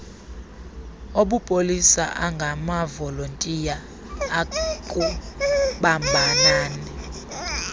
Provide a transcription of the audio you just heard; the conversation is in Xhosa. obupolisa angamavolontiya akubambanani